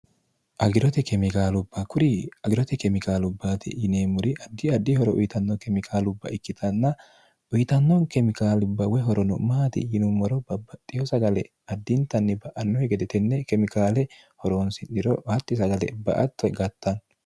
agirote kemikaalubba kuri agirote kemikaalubbaati yinee muri addi addi horo uyitanno kemikaalubba ikkitanna uyitannon kemikaalibba we horono'maati yinummoro babbaxxiho sagale addintanni ba'annohi gedetenne kemikaale horoonsi'niro hatti sagale ba atto gattanno